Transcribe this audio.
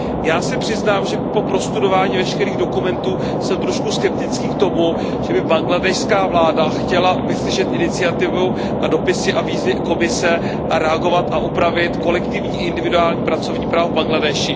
Já se přiznám, že po prostudování veškerých dokumentů jsem trochu skeptický k tomu, že by bangladéšská vláda chtěla vyslyšet iniciativu a dopisy a výzvy Komise a reagovat a opravit kolektivní individuální pracovní právo v Bangladéši.